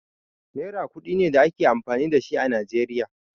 Naira ƙudi ne da ake amfani da shi a Najeriya.